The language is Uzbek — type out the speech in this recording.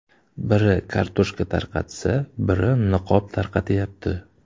Biri kartoshka tarqatsa, biri niqob tarqatyapti.